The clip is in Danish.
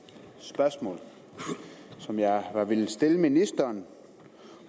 to spørgsmål som jeg har villet stille ministeren